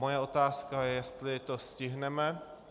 Moje otázka je, jestli to stihneme.